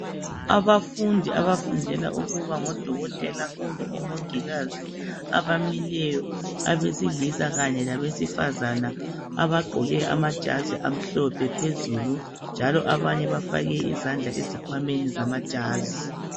Abafundi abafundela ukuba ngodokotela kumbe omongikazi abamileyo abesilisa kanye labesifazane abagqoke amajazi amhlophe phezulu njalo abanye bafake izandla ezikhwameni zamajazi.